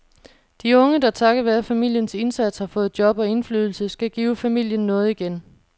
De unge, der takket være familiens indsats har fået job og indflydelse, skal give familien noget igen.